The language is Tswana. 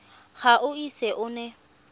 ga o ise o nne